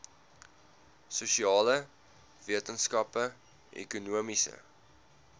sosiale wetenskappe ekonomiese